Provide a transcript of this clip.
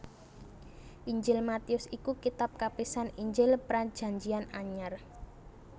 Injil Matius iku kitab kapisan Injil Prajanjian Anyar